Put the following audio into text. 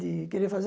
De querer fazer.